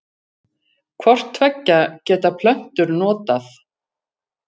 Hvort tveggja geta plöntur notað.